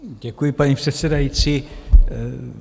Děkuji, paní předsedající.